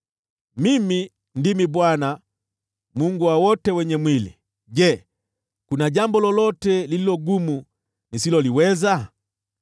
“Mimi ndimi Bwana , Mungu wa wote wenye mwili. Je, kuna jambo lolote lililo gumu nisiloliweza?